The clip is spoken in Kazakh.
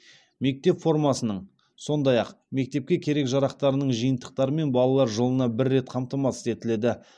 мектеп формасының сондай ақ мектепке керек жарақтарының жиынтықтарымен балалар жылына бір рет қамтамасыз етіледі